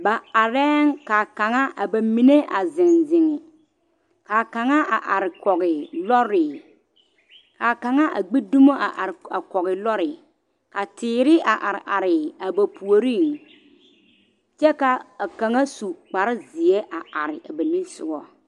Ba arɛŋ ka a kaŋa a bamine a zeŋ zeŋ, a kaŋa a are kɔge lɔre a kaŋa a gbi dumu a are kɔge lɔre, a teere a are are a ba puoriŋ kyɛ ka kaŋa a su kpare zeɛ a are a ba nimisogɔŋ.